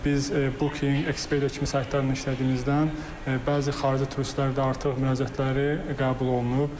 Biz Booking, Expedia kimi saytlarla işlədiyimizdən bəzi xarici turistlər də artıq müraciətləri qəbul olunub.